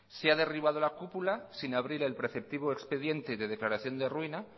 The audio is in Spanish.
si ha derribado la cúpula sin abrir el preceptivo expediente de declaración de ruina